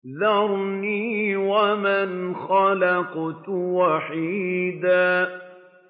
ذَرْنِي وَمَنْ خَلَقْتُ وَحِيدًا